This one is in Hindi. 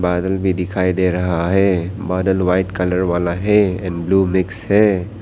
बादल भी दिखाई दे रहा हैं बादल व्हाइट कलर वाला है एंड ब्लू मिक्स है।